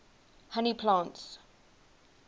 honey plants